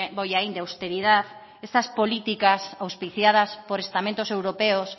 bollain de austeridad esas políticas auspiciadas por estamentos europeos